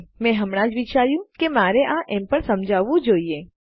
મેં હમણાં જ વિચાર્યું કે મારે આ એમ પણ સમજાવવું જોઈએ